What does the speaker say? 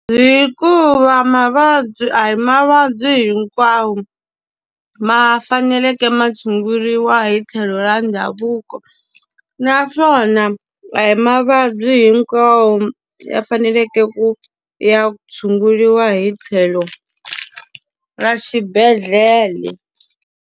Hikuva mavabyi a hi mavabyi hinkwawo ma faneleke ma tshunguriwa hi tlhelo ra ndhavuko. Naswona na a hi mavabyi hinkwawo ya faneleke ku ya tshunguriwa hi tlhelo ra xibedhlele.